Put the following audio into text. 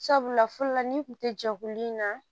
Sabula fɔlɔ la n'i kun tɛ jɛkulu in na